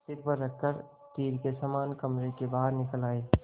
सिर पर रख कर तीर के समान कमरे के बाहर निकल आये